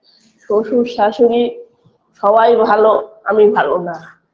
শ্বশুর শ্বাশুড়ী সবাই ভালো আমি ভালোনা